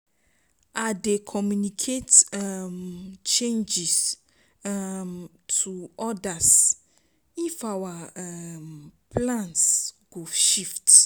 I dey communicate um changes um to others if our um plans go shift.